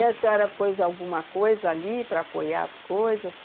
E a senhora pôs alguma coisa ali para apoiar as coisas?